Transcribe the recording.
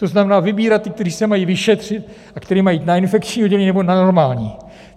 To znamená, vybírat ty, kteří se mají vyšetřit a kteří mají jít na infekční oddělení nebo na normální.